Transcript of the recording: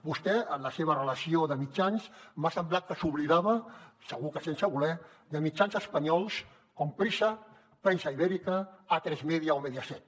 vostè en la seva relació de mitjans m’ha semblat que s’oblidava segur que sense voler de mitjans espanyols com prisa prensa ibérica atresmedia o mediaset